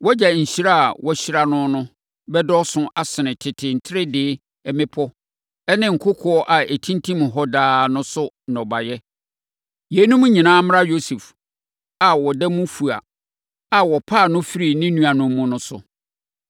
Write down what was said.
Wʼagya nhyira a wɔahyira no no bɛdɔɔso asene tete ntredee mmepɔ ne nkokoɔ a ɛtintim hɔ daa no so nnɔbaeɛ. Yeinom nyinaa mmra Yosef a ɔda mu fua a wɔpaa no firii ne nuanom mu no so.